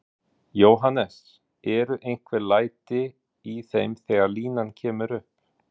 Jóhannes: Eru einhver læti í þeim þegar línan kemur upp?